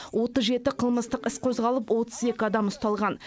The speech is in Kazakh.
отыз жеті қылмыстық іс қозғалып отыз екі адам ұсталған